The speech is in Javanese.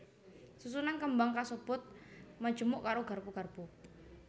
Susunan kembang kasebut majemuk karo garpu garpu